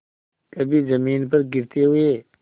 कभी जमीन पर गिरते हुए